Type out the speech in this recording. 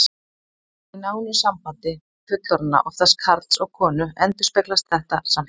Í nánu sambandi fullorðinna, oftast karls og konu, endurspeglast þetta samspil.